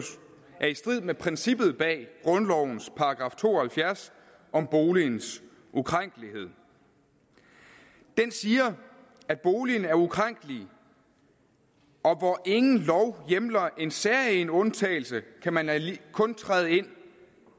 er i strid med princippet bag grundlovens § to og halvfjerds om boligens ukrænkelighed den siger at boligen er ukrænkelig og hvor ingen lov hjemler en særegen undtagelse kan man kun træde ind